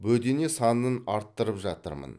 бөдене санын арттырып жатырмын